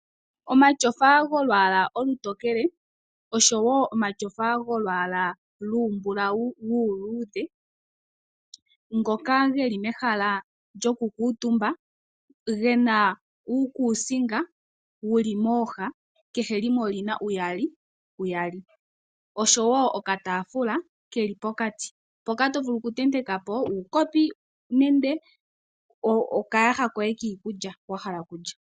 Omatyofa golwaala olutokele oshowo omatyofa golwaala lumbulawu uuludhe. Ngoka geli mehala lyoku kuutumba. Gena uukusinga wuli mooha kehe limwe olina uuyali uuyali. Oshowo okataafula keli pokati. Mpoka to vulu oku tenteka po uukopi nende okayaha koye kiikulya wa hala okulya.